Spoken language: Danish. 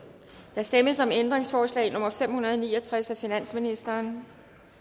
der stemmes om ændringsforslag nummer fem hundrede og ni og tres af finansministeren